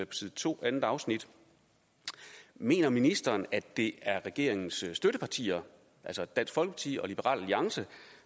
side to i andet afsnit mener ministeren at det er regeringens støttepartier altså dansk folkeparti og liberal alliance